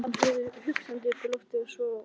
Hann horfði hugsandi út í loftið, svo á